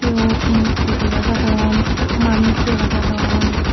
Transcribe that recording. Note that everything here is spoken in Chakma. eyot murti dega jadon manus dega jadon.